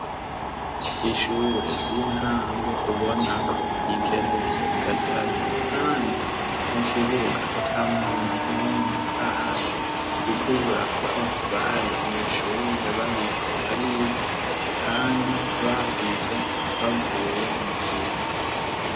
Ishure ry'intango ubona ko rigeretse gatatu kandi mu kibuga ata muntu n'umwe ahari bisigura ko bari mw'ishure bariko bariga, kandi bagize bavuye muhira.